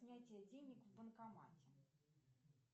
снятие денег в банкомате